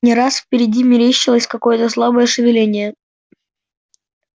не раз впереди мерещилось какое-то слабое шевеление